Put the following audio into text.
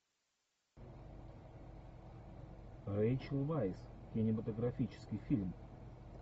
рэйчел вайс кинематографический фильм